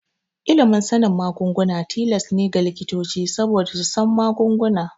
Ilimin sanin magunguna tilas ne ga likitoci saboda su san magunguna.